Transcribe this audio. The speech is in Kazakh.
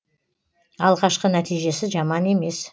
алғашқы нәтижесі жаман емес